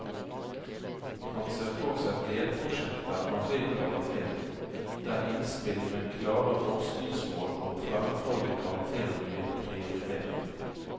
Han ser for seg delprosjekter av høy kvalitet, der innspill med klare forskningsmål og tverrfaglig karakter blir prioritert.